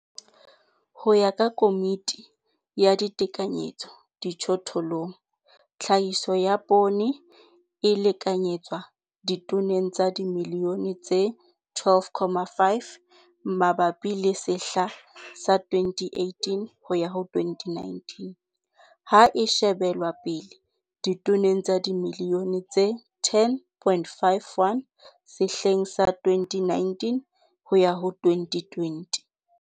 Ho ya ka Komiti ya Ditekanyetso Dijothollong, CEC, Tlhahiso ya poone e lekanyetswa ditoneng tsa dimilione tse 12, 5 mabapi le sehla sa 2018 - 2019, ha e shebelwa pele ditoneng tsa dimilione tse 10.51 sehleng sa 2019 - 2020.